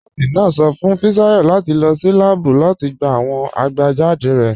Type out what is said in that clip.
Nọọ̀sì náà sọ̀ fún Fisayo láti lọ́ sí làábù láti gbà awọn abajáde rẹ̀.